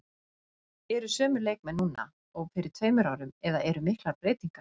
Eru sömu leikmenn núna og fyrir tveimur árum eða eru miklar breytingar?